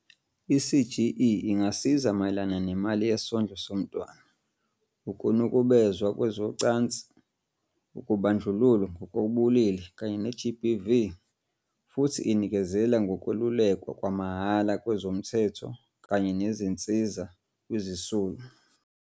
I-CGE ingasiza mayelana nemali yesondlo somntwana, ukunukubezwa kwezocansi, ukubandlululwa ngokobulili kanye ne-GBV, futhi inikezela ngokwelulekwa kwamahhala kwezomthetho kanye nezinsiza kwizisulu.